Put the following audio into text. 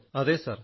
അതേ സർ